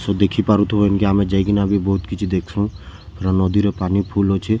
ସୋ ଦେଖି ପାରୁଥିବେ କି ଆମେ ଯାଇକିନା ବି ଆମେ ବହୁତ କିଛି ଦେଖସୁ ପୁରା ନଦୀ ରେ ବି ପାନି ଫୁଲ ଅଛେ--